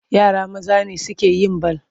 Yara maza ne suke yin bal.